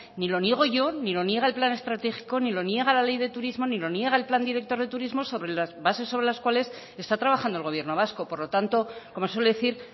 ni lo niego yo ni lo niega el plan estratégico ni lo niega la ley de turismo ni lo niega el plan director de turismo sobre las bases sobre las cuales está trabajando el gobierno vasco por lo tanto como suele decir